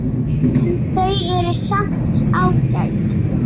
En þau eru samt ágæt.